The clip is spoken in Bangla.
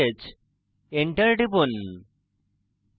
enter টিপুন